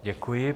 Děkuji.